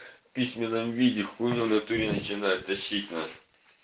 в письменном виде хули он в натуре начинает тащить на